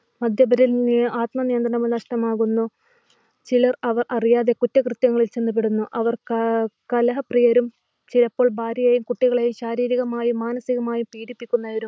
മദ്യപേരിൽ ആത്മനിയന്ത്രണം നഷ്ടമാകുന്നു. ചിലർ അവർ അറിയാതെ കുറ്റകൃത്യങ്ങളിൽ ചെന്നു പെടുന്നു. അവർ കലഹപ്രിയരും ചിലപ്പോൾ ഭാര്യയും കുട്ടികളെയും ശാരീരികമായും മാനസികമായും പീഡിപ്പിക്കുന്നവരുമാണ്